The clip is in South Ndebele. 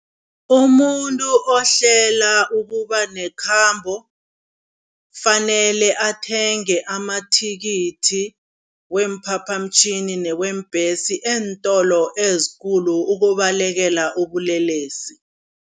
Umuntu ohlalela ukuba nekhambo kufanele athenge amathikithi weemphaphamtjhini neweembhesi eentolo ezikulu ukubalekela ubulelesi.